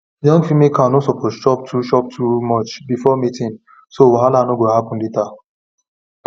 young female cow no suppose chop too chop too much before mating so wahala no go happen later